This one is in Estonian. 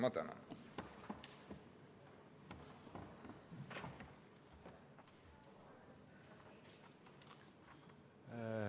Ma tänan!